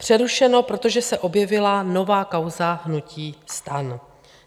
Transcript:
Přerušeno, protože se objevila nová kauza hnutí STAN.